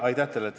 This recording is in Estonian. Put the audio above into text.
Aitäh teile!